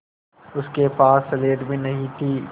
उसके पास स्लेट भी नहीं थी